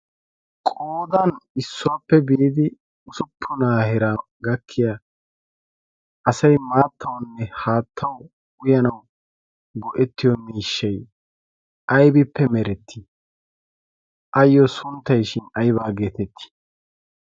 qoodan issuwaappe biidi usuppunaa hera gakkiya asai maattawanne haattau uyanau go7ettiyo miishshai aibippe merettii? ayyo sunttaishin aibaa geetettii?